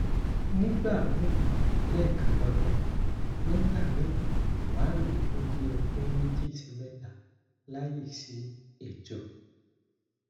nigbami lekan lodun nigba mi ma lo fun bi odun meji si meta layi si eto